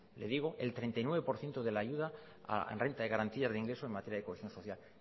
le digo el treinta y nueve por ciento de la ayuda en renta de garantía de ingreso en materia de cohesión social